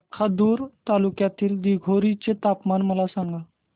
लाखांदूर तालुक्यातील दिघोरी चे तापमान मला सांगा